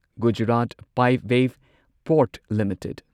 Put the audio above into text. Gujarat Pipavav port limited